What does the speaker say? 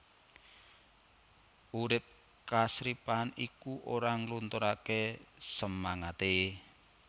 Urip kasripahan iku ora nglunturaké semangaté